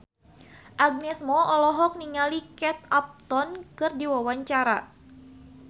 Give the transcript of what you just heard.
Agnes Mo olohok ningali Kate Upton keur diwawancara